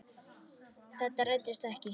Þetta rættist ekki.